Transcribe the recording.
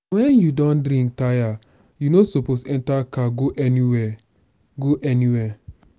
when you don drink tire you no suppose enter car go anywhere. go anywhere.